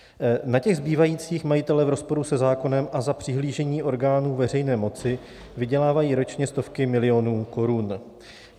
Na těch zbývajících majitelé v rozporu se zákonem a za přihlížení orgánů veřejné moci vydělávají ročně stovky milionů korun.